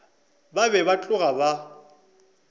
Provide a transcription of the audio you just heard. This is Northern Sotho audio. ba be ba tloga ba